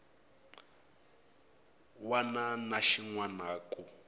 wana na xin wana ku